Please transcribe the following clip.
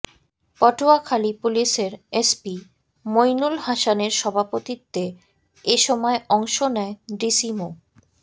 পটুয়াখালী পুলিশের এসপি মইনুল হাসানের সভাপতিত্বে এ সময় অংশ নেয় ডিসি মো